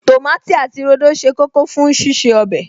Tòmátì àti rodo ṣe kókó fún ṣíṣe ọbẹ̀